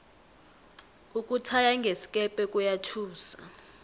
ukuthaya ngesikepe kuyathusa